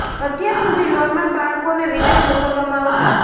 અત્યાર સુધી નોર્મલ બાળકોને વિદેશ મોકલવામાં આવતા હતા